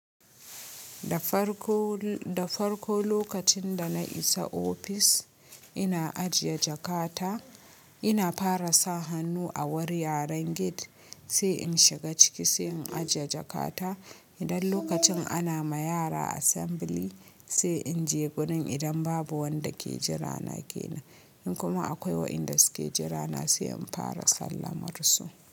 Da farko, da farko lokacin da na isa ofis, ina ajiye jakata, ina fara sa hannu a wurin yaren gate sai in shiga ciki sai in ajiye jakata. Idan lokacin ana ma yara assembly sai in je gurin idan babu wanda ke jira na ke nan In kuma akwai wa inda suke jira na sai in fara sallamar su.